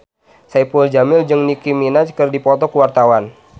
Saipul Jamil jeung Nicky Minaj keur dipoto ku wartawan